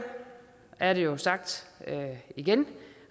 er det jo sagt igen